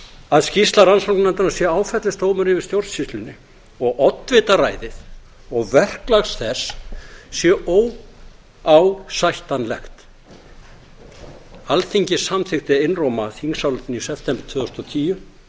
að skýrsla rannsóknarnefndarinnar sé áfellisdómur yfir stjórnsýslunni og oddvitaræði og verklag þess sé óásættanlegt alþingi samþykkti einróma þingsályktun í september tvö þúsund og tíu